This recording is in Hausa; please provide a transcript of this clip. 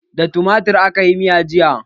Da tumatir akayi miyan jiya